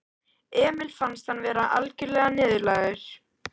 Emil fannst hann vera algjörlega niðurlægður.